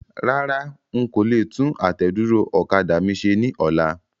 Rárá,n kò le tún àtẹ̀dúró ọ̀kadà mi ṣe ní ọlá.